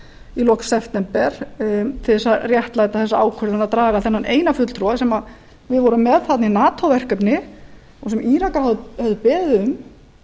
í lok september til að réttlæta þessa ákvörðun að draga þennan eina fulltrúa sem við vorum með í nato verkefni og sem írakar höfðu beðið um til